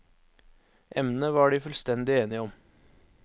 Emnet var de fullstendig enige om.